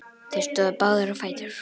Þeir stóðu báðir á fætur.